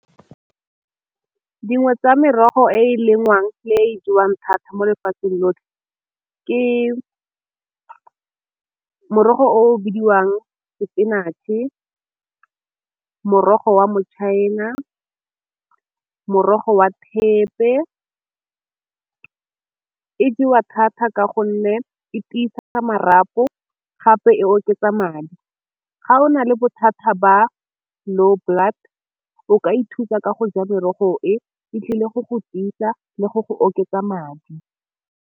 Dingwe tsa merogo e e lengwang e jewang thata mo lefatsheng lotlhe ke morogo o bidiwang spinach-e, morogo wa matšhaena, morogo wa thepe, e jewa thata ka gonne e tiisa marapo gape e oketsa madi. Ga o na le bothata ba low blood o ka ithusa ka go ja merogo e e tlile go go tiisa le go go oketsa madi.